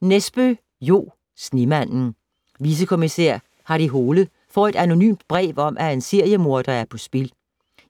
Nesbø, Jo: Snemanden Vicekommisær Harry Hole får et anonymt brev om, at en seriemorder er på spil.